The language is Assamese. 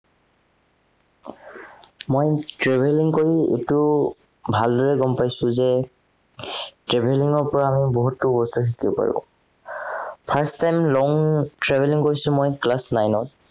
মই travelling কৰি এইটো ভালদৰে গম পাইছো যে travelling ৰ পৰা আমি বহুতো বস্তু শিকিব পাৰো। first time long travelling কৰিছো মই class nine ত।